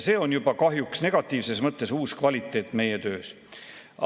See on juba kahjuks negatiivses mõttes uus kvaliteet meie töös.